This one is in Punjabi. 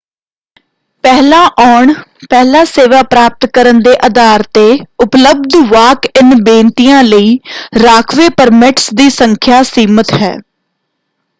ਪਹਿਲਾਂ ਆਉਣ ਪਹਿਲਾਂ ਸੇਵਾ ਪ੍ਰਾਪਤ ਕਰਨ ਦੇ ਅਧਾਰ ‘ਤੇ ਉਪਲਬਧ ਵਾਕ-ਇਨ ਬੇਨਤੀਆਂ ਲਈ ਰਾਖਵੇਂ ਪਰਮਿਟਸ ਦੀ ਸੰਖਿਆ ਸੀਮਤ ਹੈ।